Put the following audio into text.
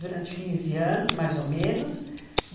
Durante 15 anos, mais ou menos.